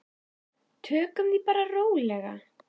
Tökum því bara rólega.